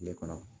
Tile kɔnɔ